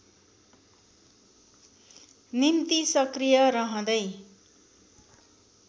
निम्ति सक्रिय रहँदै